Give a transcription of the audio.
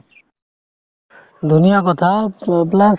ধুনীয়া কথা প~ plus